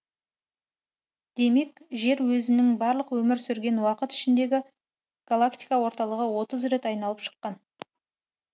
демек жер өзінің барлық өмір сүрген уақыты ішінде галактика орталығын отыз рет айналып шыққан